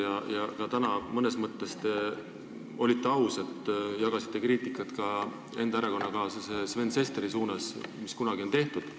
Ka täna te olite mõnes mõttes aus, sest tegite kriitikat ka enda erakonnakaaslase Sven Sesteri kohta, selle eest, mis kunagi on tehtud.